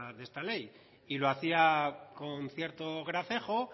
de esta ley y lo hacía con cierto gracejo